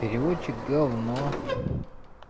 переводчик гавно